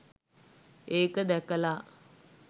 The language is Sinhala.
ඒක දැකලා